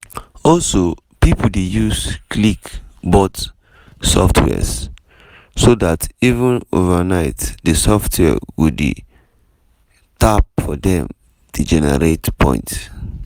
also pipo dey use click-bot soft wares so dat even overnight di software go dey go dey tap for dem dey generate points.